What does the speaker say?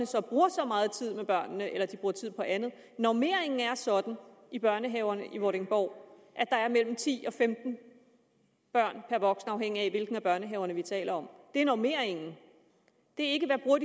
så og så meget tid med børnene eller om de bruger tid på andet normeringen er sådan i børnehaverne i vordingborg at der er mellem ti og femten børn per voksen afhængigt af hvilken af børnehaverne vi taler om det er normeringen det er